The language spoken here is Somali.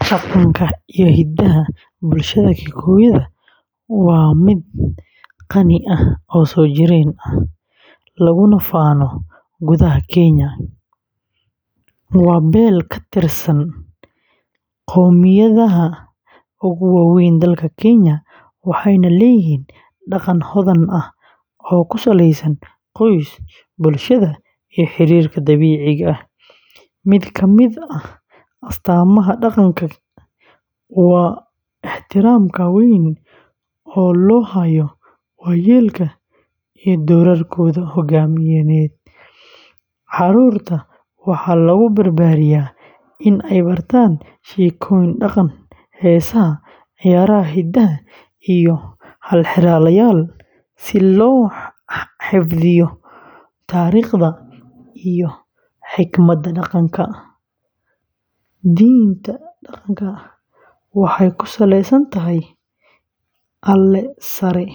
Dhaqanka iyo hidaha bulshada Kikuyu waa mid qani ah oo soo jireen ah, laguna faano gudaha Kenya, waa beel ka tirsan qoomiyadaha ugu waaweyn dalka Kenya, waxayna leeyihiin dhaqan hodan ah oo ku saleysan qoys, bulshada, iyo xiriirka dabiiciga ah. Mid ka mid ah astaamaha dhaqanka Kikuyu waa ixtiraamka weyn ee loo hayo waayeelka iyo doorarkooda hogaamineed. Carruurta Kikuyu waxaa lagu barbaariyaa in ay bartaan sheekooyinka dhaqanka, heesaha, ciyaaraha hidaha, iyo halxiraalayaal si loo xifdiyo taariikhda iyo xikmadda dhaqanka. Diinta dhaqanka Kikuyu waxay ku saleysan tahay Alle sare